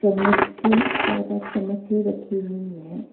मुच्छ चार पांच चम्मच रखी हुई है।